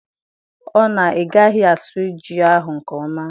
Ọ na igaghi asụ ji ahụ nke ọma?